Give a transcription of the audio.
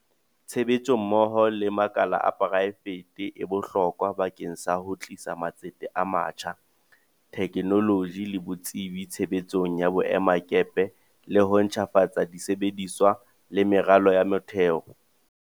Tshebetso mmoho le makala a poraefete e bohlokwa bakeng sa ho tlisa matsete a matjha, the knoloji le botsebi tshebetsong ya boemakepe le ho ntjhafatsa di sebediswa le meralo ya motheo.